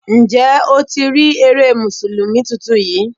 Ǹjẹ́ o ti rí eré Mùsùlùmí tuntun yí?